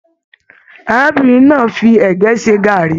Arábìnrin náà fí ẹgẹ ṣe gàárì.